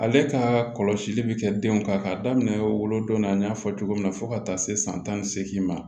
Ale ka kɔlɔsili bi kɛ denw kan k'a daminɛ wolodon na n y'a fɔ cogo min na fo ka taa se san tan ni seegin ma